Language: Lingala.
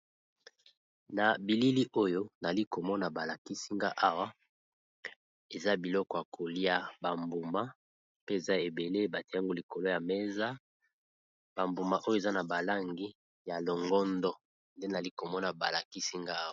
Na bilili oyo nali komona balakisinga awa eza biloko ya kolia ,ba mbuma pe eza ebele batiango likolo ya mesa ,ba mbuma oyo eza na balangi ya longondo, nde nali komona balakisi nga awa.